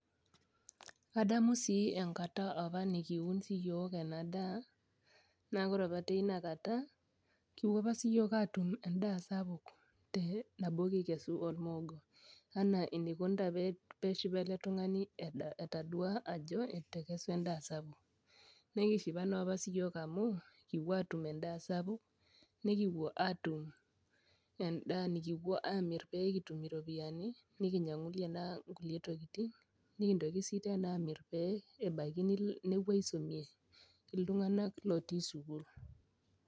Adamu si enkata nikuun apa siyiok enadaa na ore apa tinakata kipuo apa siyiok atum endaa sapuk anaa enikunita peshipa eletungani etadua ajo etekesua endaa sapuk, nikishipa apa siyiok amu kipuo atum endaa sapuk nikipuo atumendaa nikipuo amir pekitum ropiyani nikinyangunye nkulie tokitin nikintoki sinye amiri pe nepuo aisumie ltunganak otii sukul.